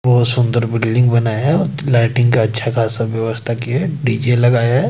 बहुत सुंदर बिल्डिंग बनाया है लाइटिंग का अच्छा खासा व्यवस्था किया है दीझे लगाया है।